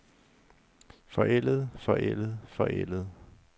forældede forældede forældede